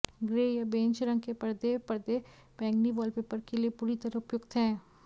grey या beige रंग के पर्दे पर्दे बैंगनी वॉलपेपर के लिए पूरी तरह उपयुक्त हैं